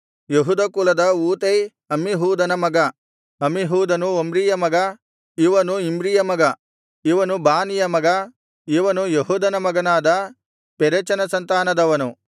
ಯೆಹೂದ ಕುಲದ ಊತೈ ಅಮ್ಮೀಹೂದನ ಮಗ ಅಮ್ಮಿಹೂದನು ಒಮ್ರಿಯ ಮಗ ಇವನು ಇಮ್ರಿಯ ಮಗ ಇವನು ಬಾನಿಯ ಮಗ ಇವನು ಯೆಹೂದನ ಮಗನಾದ ಪೆರೆಚನ ಸಂತಾನದವನು